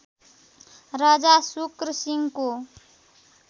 राजा शुक्र सिंहको